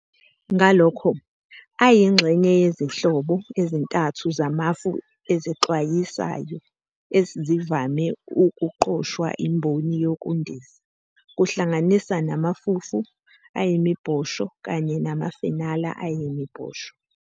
Ngalokho, ayingxenye yezinhlobo ezintathu zamafu ezixwayisayo ezivame ukuqoshwa imboni yezokundiza, kuhlanganisa namafufu ayimibhosho kanye namafenala ayimibhosho.